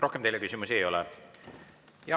Rohkem teile küsimusi ei ole.